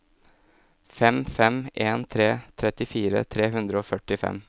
fem fem en tre trettifire tre hundre og førtifem